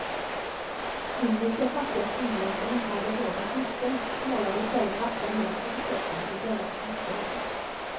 Indiska fattiga kvinnor som inte hade råd med smycken målade i stället vackra mönster på kroppen vid bröllopsfestligheter.